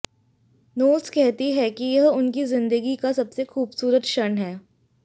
Knowles कहती हैं कि यह उनकी जिंदगी का सबसे खूबसूरत क्षण है